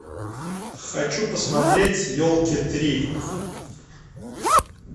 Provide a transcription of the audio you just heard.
хочу посмотреть елки три